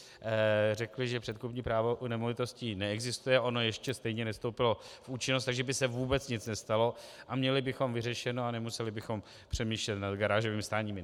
Řekli, že předkupní právo u nemovitostí neexistuje, ono ještě stejně nevstoupilo v účinnost, takže by se vůbec nic nestalo a měli bychom vyřešeno a nemuseli bychom přemýšlet nad garážovým stáním.